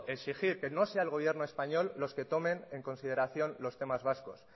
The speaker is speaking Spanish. exigir que no sea el gobierno español los que tomen en consideración los temas vascos